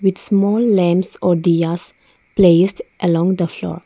small lamps or diyas placed along the floor.